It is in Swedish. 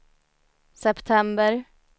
september